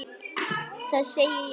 Það segi ég satt.